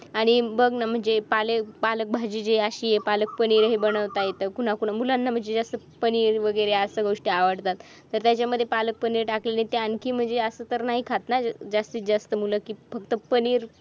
आणि बघ ना पालक भाजीचे अशी आहे पालक पनीर ही बनवता येतं कुणा कुणा मुलांना म्हणजे जास्त वगैरे अशा गोष्टी आवडतं त्याच्यामध्ये पालक पनीर टाकलेलं ते आणखी म्हणजे अस तर नाही खात ना जास्तीत जास्त मुलं फक्त पनीर